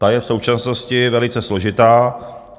Ta je v současnosti velice složitá.